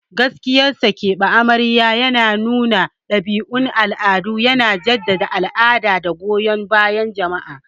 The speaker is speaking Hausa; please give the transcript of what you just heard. Gaskiyar sa, keɓe amarya yana nuna ɗabi'un al'adu, yana jaddada al'ada da goyon bayan jama'a.